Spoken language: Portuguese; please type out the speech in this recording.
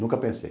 Nunca pensei.